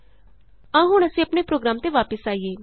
ਆਉ ਹੁਣ ਅਸੀਂ ਆਪਣੇ ਪ੍ਰੋਗਰਾਮ ਤੇ ਵਾਪਸ ਆਈਏ